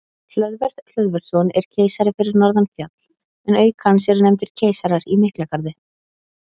Hlöðver Hlöðversson er keisari fyrir norðan fjall en auk hans eru nefndir keisarar í Miklagarði.